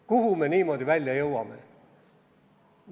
Kuhu me niimoodi välja jõuame?